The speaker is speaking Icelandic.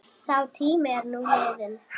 Sá tími er nú liðinn.